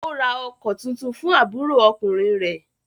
Ó ra ọkọ̀ tuntun fún àbúrò ọkùnrin rẹ̀?